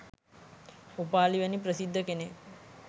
උපාලි වැනි ප්‍රසිද්ධ කෙනෙක්